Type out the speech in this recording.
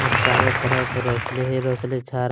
और चारो तरफ रोशनी ही रोशनी छा--